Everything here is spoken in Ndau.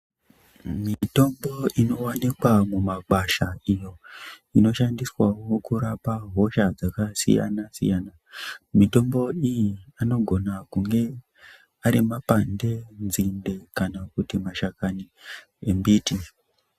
Mitombo inowanikwa mumakwasha iyo inoshandiswa kurapa hosha dzakasiyana siyana mitombo iyi anogona kunga arimapande nzinde kana kuti mashakani ambiti .